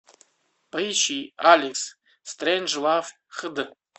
поищи алекс стрейнджлав хд